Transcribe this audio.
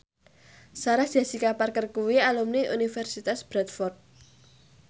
Sarah Jessica Parker kuwi alumni Universitas Bradford